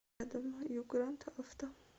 рядом югранд авто